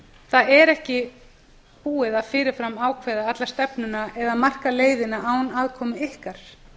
það er ekki búið að fyrir fram ákveða alla stefnuna eða marka leiðina án aðkomu ykkar